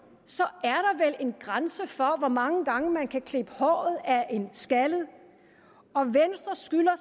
er en grænse for hvor mange gange man kan klippe håret af en skaldet og venstre skylder